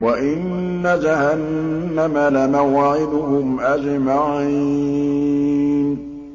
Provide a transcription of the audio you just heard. وَإِنَّ جَهَنَّمَ لَمَوْعِدُهُمْ أَجْمَعِينَ